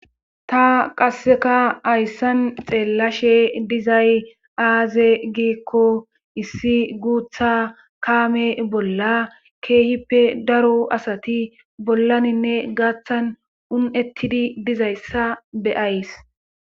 Ta qasseka hayssan xeellashe dizay aaze giikko issi guutha kaame bolla keehippe daro asati bollaninne gaaththan un'ettidi dizayssa beyays.